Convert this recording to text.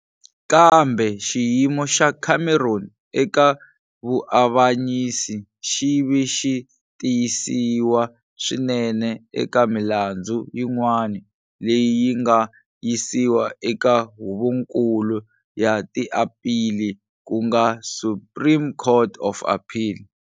Kambe xiyimo xa Cameron eka vuavanyisi xi ve xi tiyisiwa swinene eka milandzu yin'wana leyi yi nga yisiwa eka Huvonkulu ya tiaphili ku nga Supreme Court of Appeal.